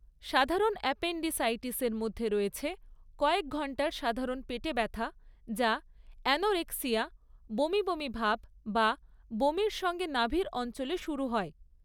সাধারণ অ্যাপেন্ডিসাইটিসের মধ্যে রয়েছে কয়েক ঘণ্টার সাধারণ পেটে ব্যথা যা অ্যানোরেক্সিয়া, বমি বমি ভাব বা বমির সঙ্গে নাভির অঞ্চলে শুরু হয়।